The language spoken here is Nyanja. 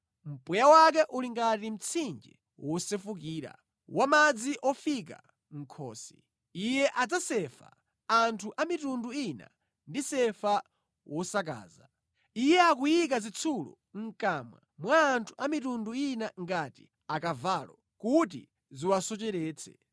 Mpweya wake uli ngati mtsinje wosefukira, wa madzi ofika mʼkhosi. Iye adzasefa anthu a mitundu ina ndi sefa wosakaza; Iye akuyika zitsulo mʼkamwa mwa anthu a mitundu ina ngati akavalo, kuti ziwasocheretse.